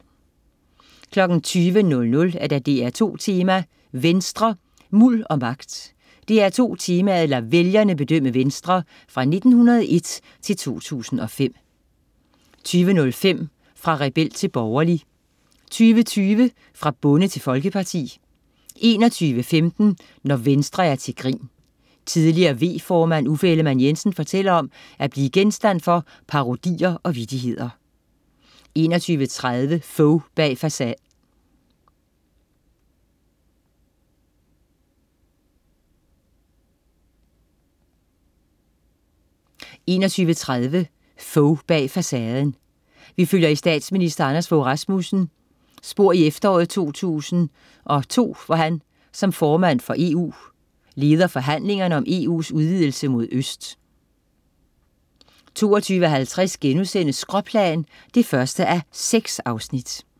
20.00 DR2 Tema: Venstre. Muld og magt. DR2 Temaet lader vælgerne bedømme Venstre. Fra 1901 til 2005 20.05 Fra rebel til borgerlig 20.20 Fra bonde til folkeparti 21.15 Når Venstre er til grin. Tidligere V-formand Uffe Ellemann-Jensen fortæller om at blive genstand for parodier og vittigheder 21.30 Fogh bag facaden. Vi følger i statsminister Anders Fogh Rasmussen i efteråret 2002, hvor han, som formand for EU, leder forhandlingerne om EU's udvidelse mod øst 22.50 Skråplan 1:6*